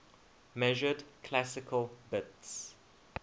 measured classical bits